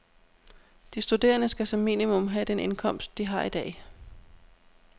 De studerende skal som minimum have den indkomst, de har i dag.